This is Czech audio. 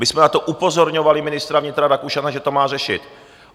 My jsme na to upozorňovali ministra vnitra Rakušana, že to má řešit.